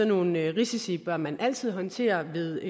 nogle risici bør man altid håndtere ved